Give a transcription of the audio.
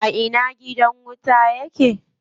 A ina gidan wutan yake?